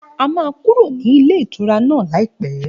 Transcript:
A máa kúrò ní ilé ìtura náà láìpẹ́